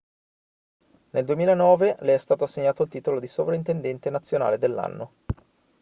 nel 2009 le è stato assegnato il titolo di sovrintendente nazionale dell'anno